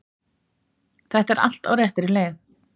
Þetta er allt á réttri leið